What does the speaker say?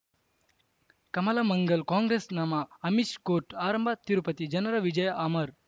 ಕಮಲ ಮಂಗಳ್ ಕಾಂಗ್ರೆಸ್ ನಮಃ ಅಮಿಷ್ ಕೋರ್ಟ್ ಆರಂಭ ತಿರುಪತಿ ಜನರ ವಿಜಯ ಅಮರ್